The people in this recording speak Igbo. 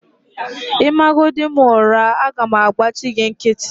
Ịmagodi m ụra, aga m agbachi gị nkịtị